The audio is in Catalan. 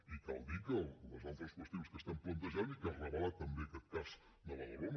i cal dir que les altres qüestions que estem plantejant i que ha revelat també aquest cas de badalona